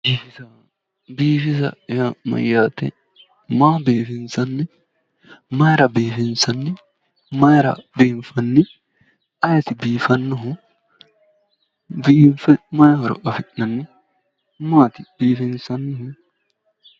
Biifisa yaa mayyaate? Maa biifinsanni? Mayira biifinsanni? Mayira biinfanni? ayiti biifannohu? Biinfe mayi horo afi'nanni? Maati biinfanni?